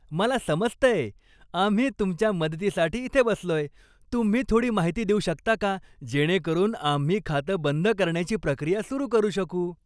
मला समजतंय. आम्ही तुमच्या मदतीसाठी इथे बसलोय. तुम्ही थोडी माहिती देऊ शकता का जेणेकरून आम्ही खातं बंद करण्याची प्रक्रिया सुरू करू शकू?